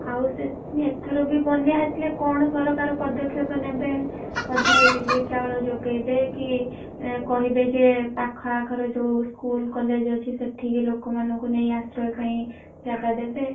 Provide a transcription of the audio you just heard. ଆଉ ସେଥିପାଇଁ ଏଥର ବି ବନ୍ୟା ଆସିଲେ କଣ ସରକାର ପଦକ୍ଷେପ ନେବେ ବୋଧେ relife ଚାଉଳ ଦେବେ କି ଏଁ କହିବେ ଯେ ପାଖ ଆଖରେ ଯୋଉ school college ଅଛି ସେଠିକି ଲୋକମାନଙ୍କୁ ନେଇ ଆଶ୍ରୟ ପାଇଁ ଜାଗା ଦେବେ।